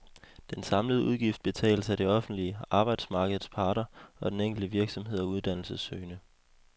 Den samlede udgift betales af det offentlige, arbejdsmarkedets parter og den enkelte virksomhed og uddannelsessøgende.